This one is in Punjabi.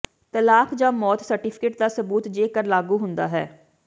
ਤਲਾਕ ਜਾਂ ਮੌਤ ਸਰਟੀਫਿਕੇਟ ਦਾ ਸਬੂਤ ਜੇਕਰ ਲਾਗੂ ਹੁੰਦਾ ਹੈ